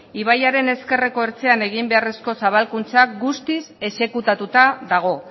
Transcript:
ibaiaren ezkerreko ertzean egin beharreko zabalkuntza guztiz exekutatuta dago